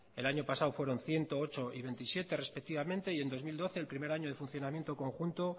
el año pasado fueron ciento ocho y veintisiete respectivamente en dos mil doce el primer año de funcionamiento conjunto